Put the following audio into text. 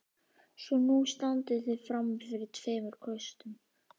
Var Sveinn þá að óska sonarbörnum sínum frjósemi fullum rómi.